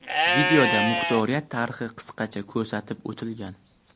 Videoda muxtoriyat tarixi qisqacha ko‘rsatib o‘tilgan.